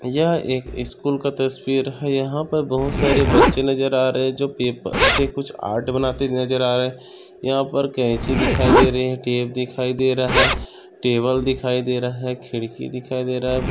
यह एक स्कूल का तस्वीर है यहा पर बहुत सारे बच्चे नजर आ रहे जो पेपर से कुछ आर्ट बनाते नजर आ रहे यहा पर कैंची दिखाई दे रही है टेप दिखाई दे रहा टेबल दिखाई दे रहा खिड़की दिखाई दे रहा है।